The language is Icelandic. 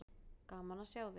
Gaman að sjá þig.